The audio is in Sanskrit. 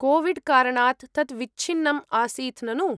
कोविड्कारणात् तत् विच्छिन्नम् आसीत् ननु?